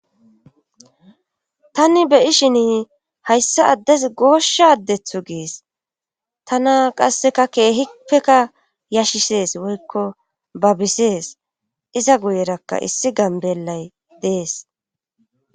Tanni beyi shin hayssa addes goosha addethu gees tana qasseka keehipeka yashisees woykko babisees iza guyerakka issi gambelay dees.